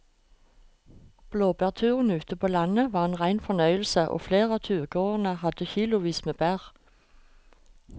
Blåbærturen ute på landet var en rein fornøyelse og flere av turgåerene hadde kilosvis med bær.